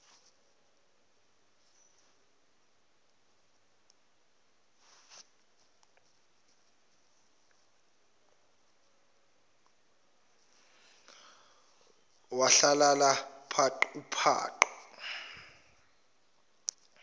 wahlalala paqu paqu